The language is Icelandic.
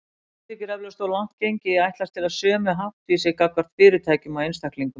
Mörgum þykir eflaust of langt gengið að ætlast til sömu háttvísi gagnvart fyrirtækjum og einstaklingum.